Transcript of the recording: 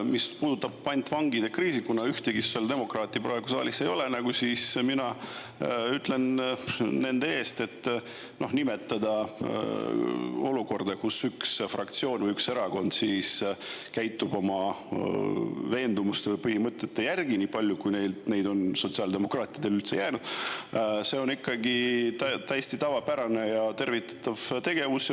Mis puudutab pantvangikriisi, siis kuna ühtegi sotsiaaldemokraati praegu saalis ei ole, ütlen mina nende eest, et nimetada olukorda, kus üks fraktsioon või üks erakond käitub oma veendumuste või põhimõtete järgi – nii palju, kui neid on sotsiaaldemokraatidel üldse alles jäänud –, see on ikkagi täiesti tavapärane ja tervitatav tegevus.